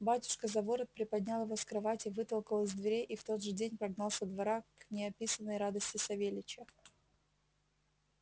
батюшка за ворот приподнял его с кровати вытолкал из дверей и в тот же день прогнал со двора к неописанной радости савельича